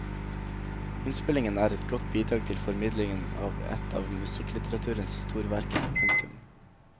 Innspillingen er et godt bidrag til formidlingen av et av musikklitteraturens storverker. punktum